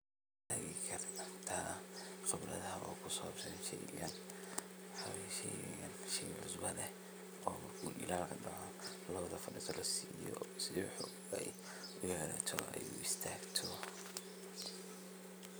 Masheeki kartah qebarada ugu sabsan sheeygani waxaye sheey cusba leeh oo lawada cunto lasiiye si u istagtoh.